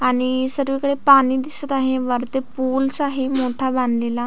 आणि सर्वीकडे पाणी दिसत आहे वरती पुलस आहे मोठा बांधलेला.